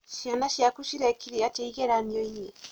ciana ciaku cirekire atĩa ĩgeranio inĩ?